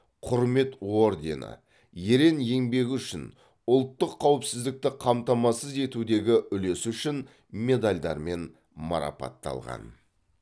құрмет ордені ерен еңбегі үшін ұлттық қауіпсіздікті қамтамасыз етудегі үлесі үшін медальдарымен марапатталған